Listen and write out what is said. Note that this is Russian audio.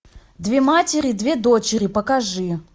две матери две дочери покажи